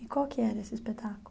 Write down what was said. E qual que era esse espetáculo?